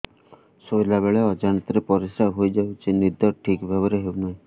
ଶୋଇଲା ବେଳେ ଅଜାଣତରେ ପରିସ୍ରା ହୋଇଯାଉଛି ନିଦ ଠିକ ଭାବରେ ହେଉ ନାହିଁ